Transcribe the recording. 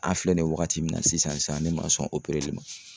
An filɛ nin ye wagati min na sisan ne ma sɔn opereli ma